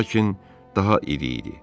Lakin daha iri idi.